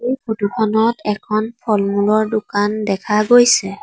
এই ফটো খনত এখন ফলমূলৰ দোকান দেখা গৈছে।